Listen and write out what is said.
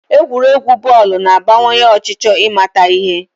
Egwuregwu bọọlụ na-abawanye ọchịchọ ịmata ihe